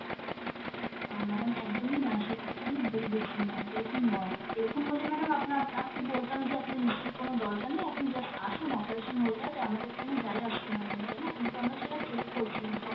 আহ madam একদমই নয় সেই কথাটা আপনি ভুল বুঝছেন ma'am এরকম নয়, এরকম হলে madam আপনা~ আপনি বলতাম যে আপনার history র কোনো দরকার নেই আপনি just আসুন operation হয়ে যাবে আমাদের কোনো যায় আসতোনা madam তাইনা? কিন্তু আমরা সেটা check করছি ma'am